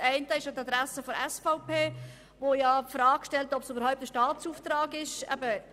Das eine richtet sich an die Adresse der SVP, welche ja die Frage stellt, ob dies überhaupt ein Staatsauftrag sei.